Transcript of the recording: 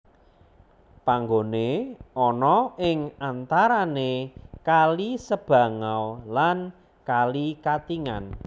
Panggone ana ing antarane kali Sebangau lan kali Katingan